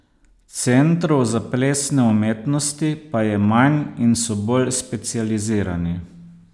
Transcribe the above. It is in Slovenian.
Centrov za plesne umetnosti pa je manj in so bolj specializirani.